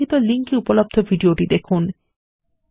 নিম্নলিখিত লিঙ্ক এ উপলব্ধ ভিডিওটি দেখুন